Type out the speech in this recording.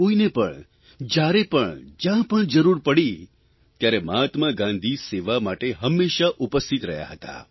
કોઇને પણ જ્યારે પણ જયાં પણ જરૂર પડી ત્યારે મહાત્મા ગાંધી સેવા માટે હંમેશા ઉપસ્થિત રહ્યા હતા